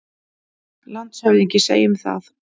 LANDSHÖFÐINGI: Segjum það.